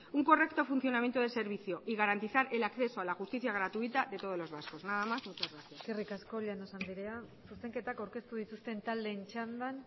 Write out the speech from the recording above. un correcto funcionamiento de servicio y garantizar el acceso a la justicia gratuita de todos los vascos nada más muchas gracias eskerrik asko llanos andrea zuzenketak aurkeztu dituzten taldeen txandan